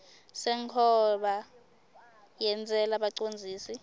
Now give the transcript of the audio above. senkhomba yentsela bacondzisi